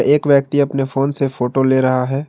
एक व्यक्ति अपने फोन से फोटो ले रहा है।